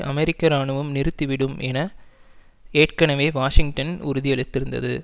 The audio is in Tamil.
அமெரிக்க இராணுவம் நிறுத்திவிடும் என ஏற்கனவே வாஷிங்டன் உறுதியளித்திருந்தது